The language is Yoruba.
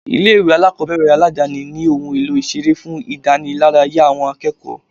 Ilé ìwé alákọ̀ọ́bẹ̀rẹ̀ aládáni ní ohun èlò ìseré fún ìdániláráyá àwọn akẹ́kọ̀ọ́.